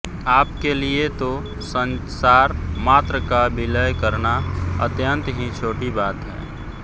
आपके लिए तो संसार मात्र का विलय करना अत्यंत ही छोटी बात है